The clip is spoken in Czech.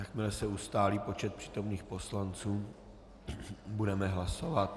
Jakmile se ustálí počet přítomných poslanců, budeme hlasovat.